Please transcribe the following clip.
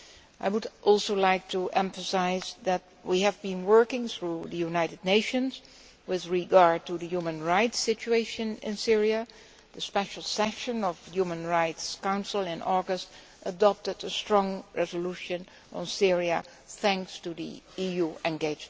I would also like to emphasise that we have been working through the United Nations with regard to the human rights situation in Syria, with the Special Session of the Human Rights Council in August adopting a strongly worded resolution on Syria thanks to the EU's commitment.